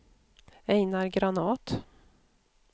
Ejnar Granath